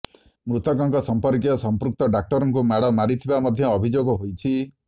ମୃତକଙ୍କ ସର୍ମ୍ପକୀୟ ସମ୍ପୃକ୍ତ ଡାକ୍ତରଙ୍କୁ ମାଡ ମାରିଥିବା ମଧ୍ୟ ଅଭିଯୋଗ ହୋଇଛି